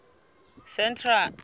central